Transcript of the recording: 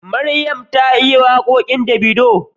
Maryam ta iya waƙoƙin Davido